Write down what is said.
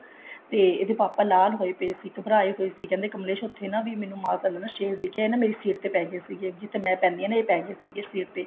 ਤੇ ਇਹਦੇ ਪਾਪਾ ਲਾਲ ਹੋਏ ਪਾਏ ਸੀ ਘਬਰਾਏ ਹੋਏ ਸੀ ਕਹਿੰਦੇ ਕਮਲੇਸ਼ ਉੱਥੇ ਨਾ ਮੈਨੂੰ ਨਾ ਮਾਤਾ ਤੇ ਸ਼ੇਰ ਦਿਖਿਆ ਇਹ ਨਾ ਮੇਰੀ ਸੀਟ ਤੇ ਪੈਗੇ ਸੀਗੇ ਜਿੱਥੇ ਮੈਂ ਪੈਂਦੀ ਹਾਂ ਨਾ ਇਹ ਪੈ ਗਏ ਸੀਗੇ ਸੀਟ ਤੇ